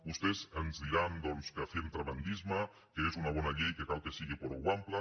vostès ens diran doncs que fem tremendisme que és una bona llei que cal que sigui prou àmplia